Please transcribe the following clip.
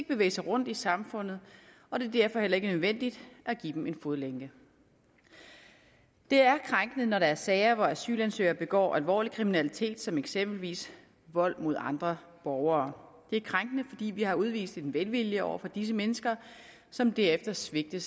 bevæge sig rundt i samfundet og det er derfor heller ikke nødvendigt at give dem en fodlænke det er krænkende når der er sager hvor asylansøgere begår alvorlig kriminalitet som eksempelvis vold mod andre borgere det er krænkende fordi vi har udvist en velvilje over for disse mennesker som derefter svigter